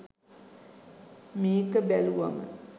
මේක බැලුවම